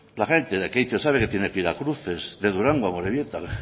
la gente de lekeitio sabe que tiene que ir a cruces de durango a amorebieta